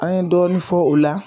An ye dɔɔnin fɔ o la